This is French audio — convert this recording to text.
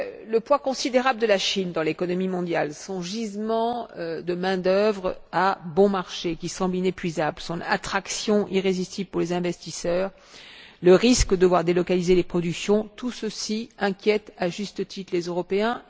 Le poids considérable de la Chine dans l'économie mondiale, son gisement de main d'œuvre à bon marché, qui semble inépuisable, son attraction irrésistible pour les investisseurs, le risque de voir délocaliser les productions, tout ceci inquiète, à juste titre, les Européens.